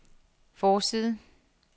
forside